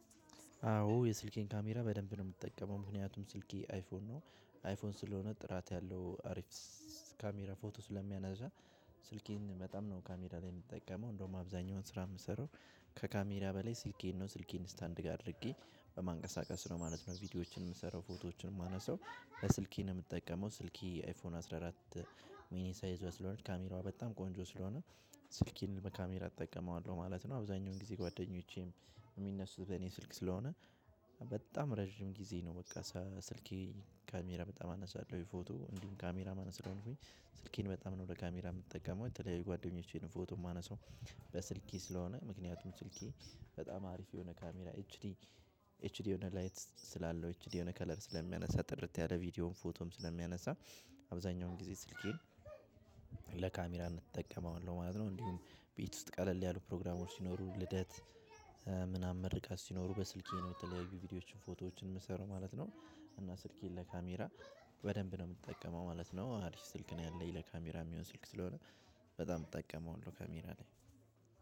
አዎ የስልኬን ካሜራ በደንብ ነው የምትጠቀመው። ምክንያቱም ስልኬ አይፎን ነው። አይፎን ስለሆነ ጥራት ያለው አሪፍ ካሜራ ፎቶ ስለሚያነሳ። ስልኬን በጣም ነው ካሜራ ላይ የምጠቀመው። እንደውም አብዛኛውን ስራ የምሰራው ከካሜራ በላይ ስልኬን ነው። ስልኬን ስታንድ ጋር አድርጌ በማንቀሳቀስ ነው ማለት ነው። ቪዲዮዎችን የምሰራው ፎቶዎችን የማነሳው። ስልኬን የምጠቀመው። ስልኬ የአይፎን አስራ አራት ሚኒ ሳ ይዞ ስለሆነ ካሜራዋ በጣም ቆንጆ ስለሆነ። ስልኬን በካሜር አጠቀመዋለሁ ማለት ነው። አብዛኛውን ጊዜ ጓደኞቼም የሚነሱት በእኔ ስልክ ስለሆነ በጣም ረጅም ጊዜ ነው በቃ ስልኬ ካሜራ በጣም አነሳለሁ። ፎቶ እንዲሁም ካሜራ ማን ስለሆንኩኝ ስልኬን በጣም ነው ለካሜራ የምጠቀመው። የተለየ ጓደኞቼን ፎቶ የማነሳው። በስልኬ ስለሆነ ምክንያቱም ስልኬ በጣም አሪፍ የሆነ ካሜራ ዲ ኤች ዲ የሆነ ላይት ስላለው ኤች ዲ የሆነ ከለር ስለሚያነሳ ጥርት ያለ ቪዲዮም ፎቶም ስለሚያነሳ። አብዛኛውን ጊዜ ስልኬን እንጠቀማለን ማለት ነው። እንዲሁም ቤት ውስጥ ቀለል ያለው ፕሮግራመሩ ሲኖሩ ልደት ምናምን መርቀት ሲኖሩ በስልኬ ነው። የተለያዩ ቪዲዮዎችን ፎቶዎችን የምሰሩ ማለት ነው። እና ስልኬን ለካሜራ በደንብ ነው የምትጠቀመው ማለት ነው። አሪፍ ስልክ ነው ያለኝ። ለካሜራ የሚሆን ስልክ ስለሆነ በጣም እጠቀመዋለው ካሜራ ላይ።